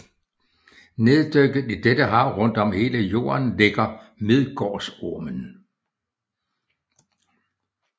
Neddykket i dette hav rundt om hele Jorden ligger Midgårdsormen